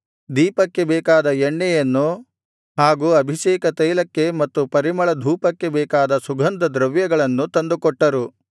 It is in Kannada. ದೀಪಕ್ಕೆ ಬೇಕಾದ ಎಣ್ಣೆಯನ್ನು ಹಾಗು ಅಭಿಷೇಕತೈಲಕ್ಕೆ ಮತ್ತು ಪರಿಮಳಧೂಪಕ್ಕೆ ಬೇಕಾದ ಸುಗಂಧದ್ರವ್ಯಗಳನ್ನು ತಂದುಕೊಟ್ಟರು